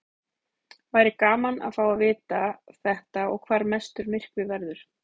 Væri gaman að fá að vita þetta og hvar mestur myrkvi verður.